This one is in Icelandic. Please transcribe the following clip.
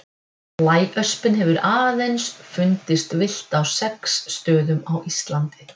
Blæöspin hefur aðeins fundist villt á sex stöðum á Íslandi.